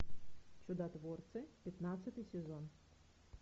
чудотворцы пятнадцатый сезон